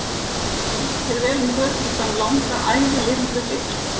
Gangi þér vel um götur fram langa æfi lifðu heill!